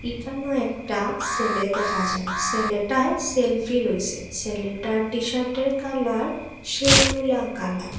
একানেও একটা সেলে দেখা যায় সেলেটায় সেলফি লইসে সেলেটের টি-শার্টের কালার শিউলা কালার ।